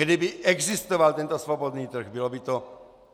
Kdyby existoval tento svobodný trh, bylo by to